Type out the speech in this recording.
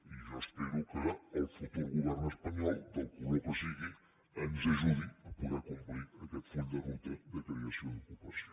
i jo espero que el futur govern espanyol del color que sigui ens ajudi a poder complir aquest full de ruta de creació d’ocupació